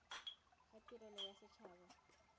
ga tirelo ya set haba